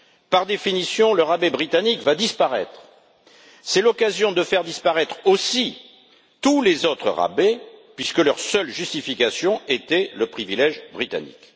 Par définition, le rabais britannique va disparaître et c'est l'occasion de faire disparaître aussi tous les autres rabais, puisque leur seule justification était le privilège britannique.